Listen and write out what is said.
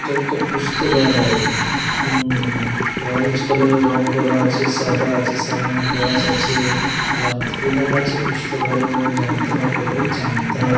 এটা একটা পুস্তকালয়। হুম অরেঞ্জ কালার এর রং করা আছে। সাদা আছে সামনে গাছ আছে। জ্যাম কি লেখা আছে পুস্তকালয় ভবন জামতলা কলেজ জামতারা।